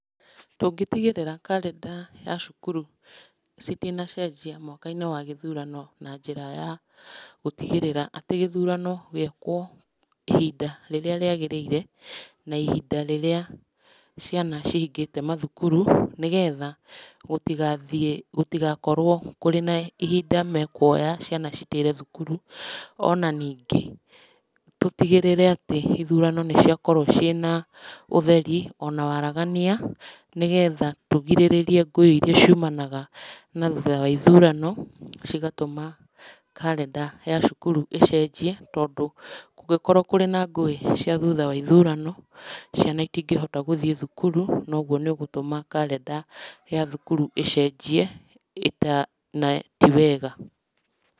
Tũngĩtigĩrĩra karenda ya cukuru citinacenjia mwaka-inĩ wa gĩthũrano na njĩra ya gũtigĩrĩra atĩ gĩthurano gĩekwo ihinda rĩrĩa rĩagĩrĩire, na ihinda rĩrĩa ciana cihingĩte mathukuru, nĩgetha gũtigathiĩ, gũtigakorwo kũrĩ na ihinda mekuoya ciana citĩre thukuru. Ona ningĩ tũtigĩrĩre atĩ ithurano nĩ ciakorwo ciĩna ũtheri ona waragania. Nĩgetha tũrigĩrĩrie ngũĩ iria ciumanaga na thutha wa ithurano, cigatũma karenda ya cukuru icenjie, tondũ kũngĩkorwo na ngũĩ thutha wa ithurano, ciana citingĩhota gũthiĩ thũkuru, na ũguo nĩ ũgũtũma karenda ya thukuru ĩcenjie, na ti wega.